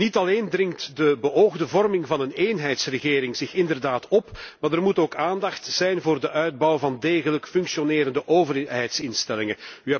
Niet alleen dringt de beoogde vorming van een eenheidsregering zich inderdaad op want er moet ook aandacht zijn voor de uitbouw van degelijk functionerende overheidsinstellingen.